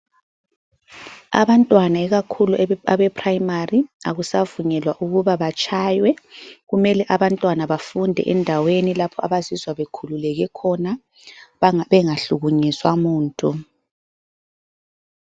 Abantwana, ikakhulu abeprimary akusavunyelwa ukuba batshaywe. Kumele abantwana bafunde endaweni lapho abazizwa bekhululeke khona, bengahlukunyezwa muntu.